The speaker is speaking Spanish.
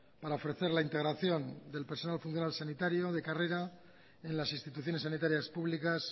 para ofrecer la integración del personal funcional sanitario de carrera en las instituciones sanitarias públicas